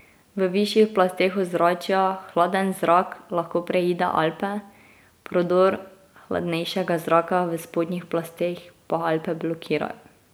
V višjih plasteh ozračja hladen zrak lahko preide Alpe, prodor hladnejšega zraka v spodnjih plasteh pa Alpe blokirajo.